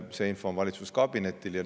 See info on valitsuskabinetil olemas.